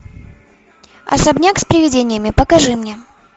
особняк с привидениями покажи мне